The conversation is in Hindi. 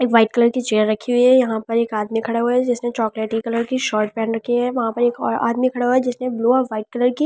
एक व्हाइट कलर की चेयर रखी हुई है यहां पर एक आदमी खड़ा हुआ है जिसने चॉकलेटी कलर की शोट पहन रखी है वहां पर एक और आदमी खड़ा हुआ है जिसने ब्लू और वाइट कलर की --